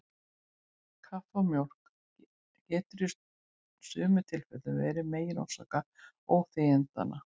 Kaffi og mjólk getur í sumum tilfellum verið megin orsök óþægindanna.